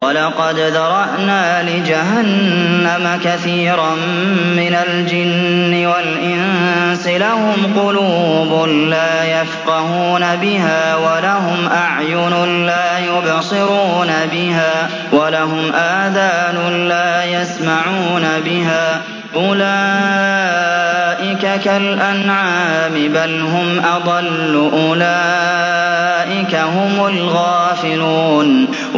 وَلَقَدْ ذَرَأْنَا لِجَهَنَّمَ كَثِيرًا مِّنَ الْجِنِّ وَالْإِنسِ ۖ لَهُمْ قُلُوبٌ لَّا يَفْقَهُونَ بِهَا وَلَهُمْ أَعْيُنٌ لَّا يُبْصِرُونَ بِهَا وَلَهُمْ آذَانٌ لَّا يَسْمَعُونَ بِهَا ۚ أُولَٰئِكَ كَالْأَنْعَامِ بَلْ هُمْ أَضَلُّ ۚ أُولَٰئِكَ هُمُ الْغَافِلُونَ